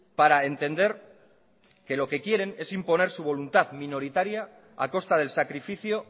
para entender que lo que quieren es imponer su voluntad minoritaria a costa del sacrificio